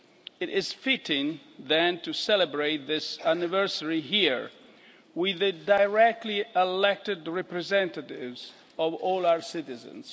It is fitting, then, to celebrate this anniversary here with the directly elected representatives of all our citizens.